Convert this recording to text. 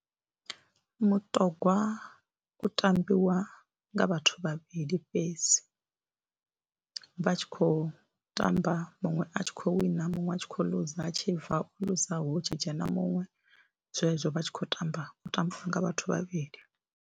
Mutogwa u tambiwa nga vhathu vhavhili fhedzi, vha tshi khou tamba muṅwe a tshi khou wina muṅwe a tshi khou loser, vha tshi bva u loser hu tshi dzhena muṅwe zwezwo vha tshi khou tamba, u tambiwa nga vhathu vhavhili.